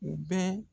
U bɛ